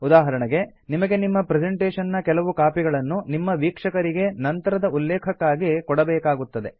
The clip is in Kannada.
ಉದಾಹರಣೆಗೆ ನಿಮಗೆ ನಿಮ್ಮ ಪ್ರೆಸೆಂಟೇಶನ್ ನ ಕೆಲವು ಕಾಪಿಗಳನ್ನು ನಿಮ್ಮ ವೀಕ್ಷಕರಿಗೆ ನಂತರದ ಉಲ್ಲೇಖಕ್ಕಾಗಿ ಕೊಡಬೇಕಾಗುತ್ತದೆ